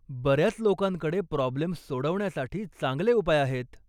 बऱ्याच लोकांकडे प्रॉब्लेम्स सोडवण्यासाठी चांगले उपाय आहेत.